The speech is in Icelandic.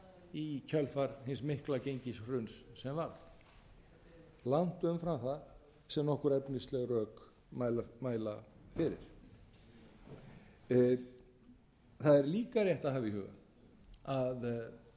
í kjölfar hins mikla gengishruns sem varð langt umfram það sem nokkur efnisleg rök mæla fyrir það er líka rétt að hafa í huga að fyrirtæki sem